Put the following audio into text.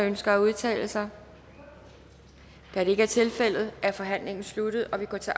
ønsker at udtale sig da det ikke er tilfældet er forhandlingen sluttet og vi går til